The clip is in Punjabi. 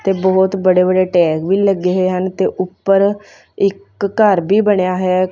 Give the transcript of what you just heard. ਤੇ ਬੋਹੁਤ ਬੜੇ ਬੜੇ ਟੈਗ ਵੀ ਲੱਗੇ ਹੋਏ ਹਨ ਤੇ ਊਪਰ ਇੱਕ ਘੱਰ ਵੀ ਬਣਿਆ ਹੈ।